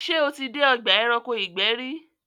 ṣé o tí dé ọgbà ẹranko ìgbẹ́ rí?